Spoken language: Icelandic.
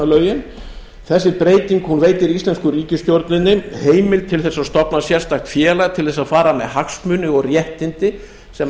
kolvetnalögin þessi breyting veitir íslensku ríkisstjórninni heimild til þess að stofna sérstakt félag til þess að fara með hagsmuni og réttindi sem